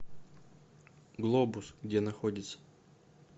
глобус где находится